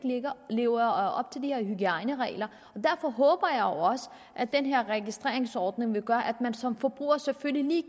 lever op til de her hygiejneregler og derfor håber jeg også at den her registreringsordning vil gøre at man som forbruger selvfølgelig lige